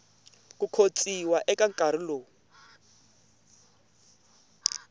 ku khotsiwa eka nkarhi lowu